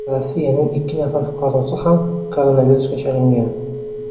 Rossiyaning ikki nafar fuqarosi ham koronavirusga chalingan.